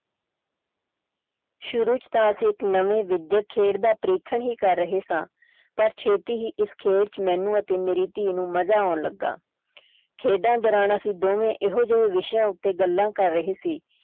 ਸ਼ੁਰੂ ਚ ਤਾਂ ਅਸੀਂ ਇਕ ਨਵੇਂ ਵਿਦਿਅਕ ਖੇਡ ਦਾ ਪ੍ਰੀਖਣ ਹੀ ਕਰ ਰਹੇ ਸਾਂ ਪਰ ਛੇਤੀ ਹੀ ਇਸ ਖੇਲ ਵਿੱਚ ਮੈਨੂੰ ਅਤੇ ਮੇਰੀ ਧੀ ਨੂੰ ਮਜਾ ਆਉਣ ਲੱਗਾ ਖੇਡਾਂ ਦੌਰਾਨ ਅਸੀਂ ਦੋਵੇਂ ਇਹੋ ਜਿਹੇ ਵਿਸ਼ਿਆਂ ਉੱਤੇ ਗੱਲਾਂ ਕਰ ਰਹੇ ਸੀ।